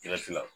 Jati la